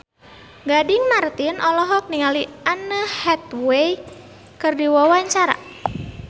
Gading Marten olohok ningali Anne Hathaway keur diwawancara